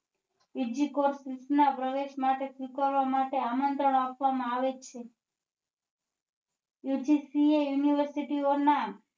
સુચના પ્રવેશ માટે સ્વીકારવા માટે આમંત્રણ આપવા માં આવે છે UGC એ university ઓ ના